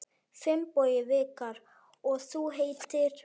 Finnbogi Vikar: Og þú heitir?